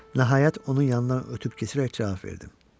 Nəhayət onun yanından ötüb keçərək cavab verdim.